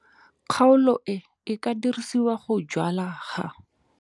Kgaolo e e ka dirisiwang go jwala ha.